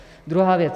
Druhá věc.